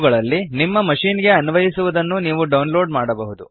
ಇವುಗಳಲ್ಲಿ ನಿಮ್ಮ ಮಶಿನ್ ಗೆ ಅನ್ವಯಿಸುವದನ್ನು ನೀವು ಡೌನ್ಲೋಡ್ ಮಾಡಬಹುದು